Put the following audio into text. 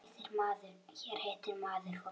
Hér hittir maður fólk.